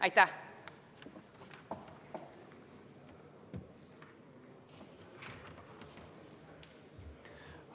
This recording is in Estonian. Aitäh!